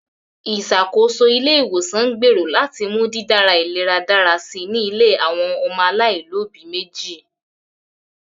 Ìṣàkóso ilé-ìwòsàn ń gbèrò láti mú dídára ìlera dára si ní ilé àwọn ọmọ alaáìlóbi méjì